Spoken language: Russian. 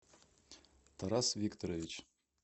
тарас викторович